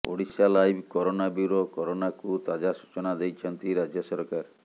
Odisha live corona bureau କରୋନାକୁ ତାଜା ସୂଚନା ଦେଇଛନ୍ତି ରାଜ୍ୟ ସରକାର